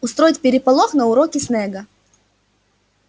устроить переполох на уроке снегга